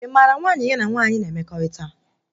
Ị mara nwaanyị ya na nwaanyị na emekọrịta?